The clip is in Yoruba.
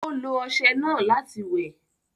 Ó lo ọṣẹ náà láti wẹ̀